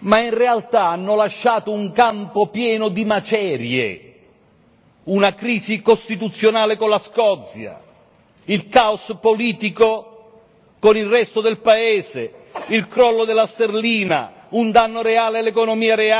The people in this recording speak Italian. ma in realtà hanno lasciato un campo pieno di macerie, una crisi costituzionale con la Scozia, il caos politico con il resto del paese, il crollo della sterlina, un danno reale all'economia reale.